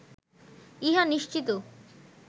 ইহা নিশ্চিত